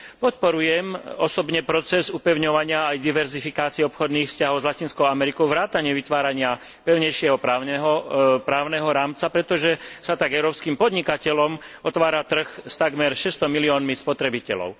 Osobne podporujem proces upevňovania aj diverzifikáciu obchodných vzťahov s Latinskou Amerikou vrátane vytvárania pevnejšieho právneho rámca, pretože sa tak európskym podnikateľom otvára trh s takmer 600 miliónmi spotrebiteľov.